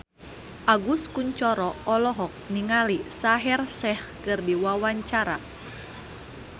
Agus Kuncoro olohok ningali Shaheer Sheikh keur diwawancara